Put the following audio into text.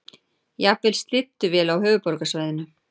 Jafnvel slydduél á höfuðborgarsvæðinu